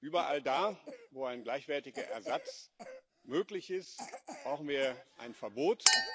Überall da, wo ein gleichwertiger Ersatz möglich ist, brauchen wir ein Verbot.